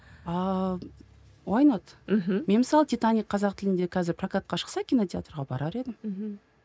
мен мысалы титаник қазақ тілінде қазір прокатқа шықса кинотеатрға барар едім мхм